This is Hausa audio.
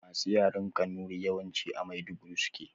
Masu yaren kanuri yawanci a maiduguri suke